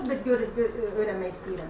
Mən onu öyrənmək istəyirəm.